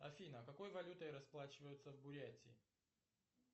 афина а какой валютой расплачиваются в бурятии